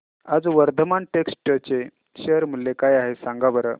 आज वर्धमान टेक्स्ट चे शेअर मूल्य काय आहे सांगा बरं